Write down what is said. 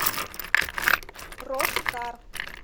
роскар